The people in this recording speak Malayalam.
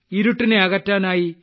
ഇരുട്ടിനെ അകറ്റാനായി